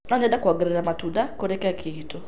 No nyende kuongerera matunda kũrĩ keki iitũ.